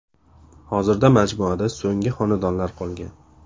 Hozirda majmuada so‘nggi xonadonlar qolgan.